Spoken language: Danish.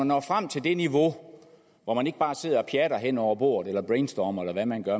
når frem til det niveau hvor man ikke bare sidder og pjatter hen over bordet eller brainstormer eller hvad man gør